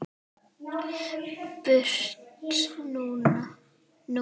Burt nú!